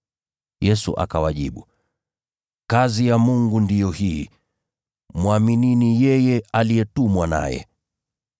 Yesu akawajibu, “Kazi ya Mungu ndiyo hii: Mwaminini yeye aliyetumwa naye.”